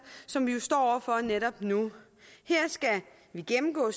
som vi jo står over for netop nu her skal vi gennemgå